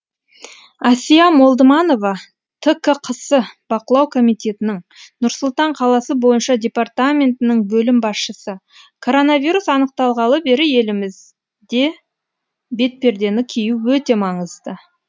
әсия молдыманова ткқс бақылау комитетінің нұр сұлтан қаласы бойынша департаментінің бөлім басшысы коронавирус анықталғалы бері елімізде бетпердені кию өте маңызды